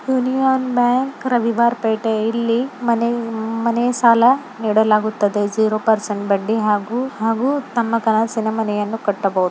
Union bank Ravivarapete ಇಲ್ಲಿ ಮನೆ ಸಾಲ ಕೊಡಲಾಗುತ್ತದೆ ಜೀರೋ ಪರ್ಸೆಂಟ್ ಬಡ್ಡಿ ಹಾಗೂ ತಮ್ಮ ಕನಸಿನ ಮನೆಯನ್ನು ಕಟ್ಟಬಹುದು.